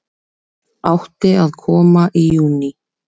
Átti að koma í júní